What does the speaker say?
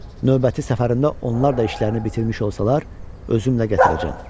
Növbəti səfərində onlar da işlərini bitirmiş olsalar, özümlə gətirəcəm.